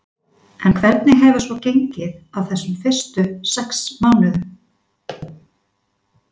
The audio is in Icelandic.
En hvernig hefur svo gengið á þessum fyrstu sex mánuðum?